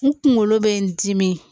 N kunkolo bɛ n dimi